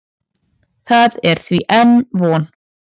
Það er því enn von.